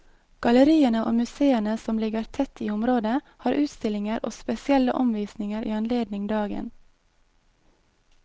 Galleriene og museene som ligger tett i området, har utstillinger og spesielle omvisninger i anledning dagen.